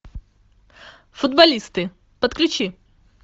футболисты подключи